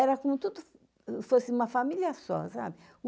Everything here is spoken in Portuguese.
Era comoI tudo fosse uma família só, sabe?